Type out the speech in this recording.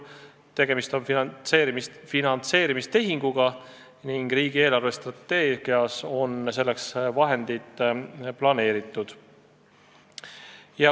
Tegemist on finantseerimistehinguga ning riigi eelarvestrateegias on selleks vahendid planeeritud.